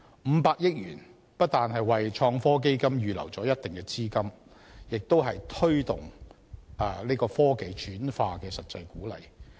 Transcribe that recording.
五百億元不但為創科基金預留了一定資金，亦有推動科技轉化的實際鼓勵。